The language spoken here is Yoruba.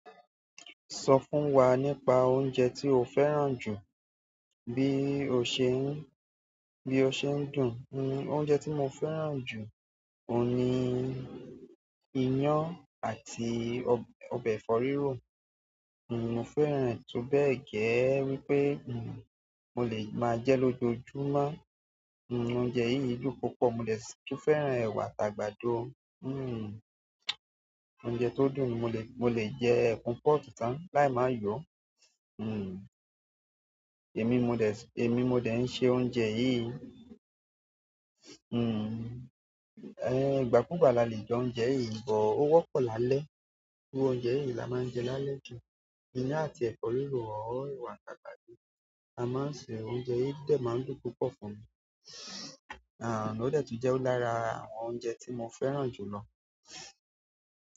Sọ fún wa nípa oúnjẹ tí o fẹ́ràn jù bí o ṣe ń, bí o ṣe ń dùn. Oúnjẹ tí mo fẹ́ràn ju oun ni iyan àti ọbẹ̀ ẹ̀fọ́ rirọ ni mo fẹ́ràn tó bẹ́ẹ̀ gẹ́ wípé n mo lè máa jẹ lójoójúmọ́. N oúnjẹ yìí dùn púpọ̀. Mo dè sitún fẹ́ràn ẹ̀wà àti àgbàdo. Hmm oúnjẹ tó dùn ni mo lè, mo lè jẹ ẹkun pọ́tú tán láì máa yọ̀. Hmm èmi modẹ̀, èmi mo dè ń ṣe oúnjẹ yìí. Hmm ẹ gbàkugbàá la lè jẹ oúnjẹ yìí bọ́ o wọ́pọ̀ lálẹ́. Irú oúnjẹ yìí la máa ń jẹ lálẹ́ jù. Iyàn àti ẹ̀fọ́ rírò or ẹ̀wà àti àgbàdo. A máa ń ṣe oúnjẹ yìí dẹ̀ máa ń dùn púpọ̀ fún mi. Àń o dé tí jẹ́ ó lára àwọn oúnjẹ tí mo fẹ́ràn jù lọ.